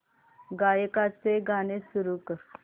गायकाचे गाणे सुरू कर